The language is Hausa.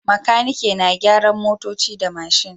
Makaniki na gyaran motoci da mashin